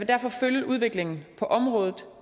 derfor følge udviklingen på området